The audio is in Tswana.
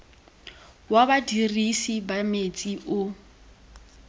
wa badirisi ba metsi o